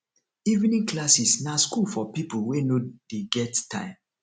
evening classes na school for pipo wey no dey get time